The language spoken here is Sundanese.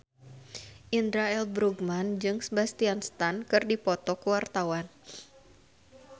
Indra L. Bruggman jeung Sebastian Stan keur dipoto ku wartawan